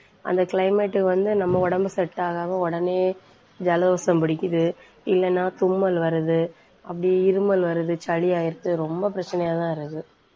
அந்த climate வந்து நம்ம உடம்பு set ஆகாம உடனே ஜலதோஷம் பிடிக்குது. இல்லைன்னா தும்மல் வர்றது அப்படியே இருமல் வருது சளி ஆயிடுது ரொம்ப பிரச்சனையாதான் இருக்கு.